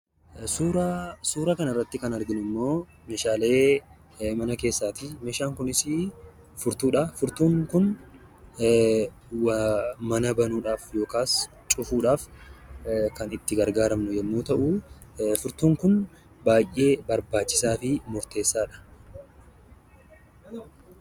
Suuraan suura kanarratti kan arginummoo meeshaalee mana keessaati Meeshaan kunisi furtuudhaa firtuun Kun mana banuufhaaf yookaas cufuudhaaf kan itti gargaaramnu yommuun ta'u furtuun Kun baay'ee barbaachisaa fi murteessaadha